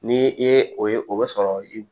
Ni i ye o ye o be sɔrɔ i